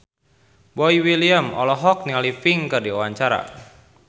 Boy William olohok ningali Pink keur diwawancara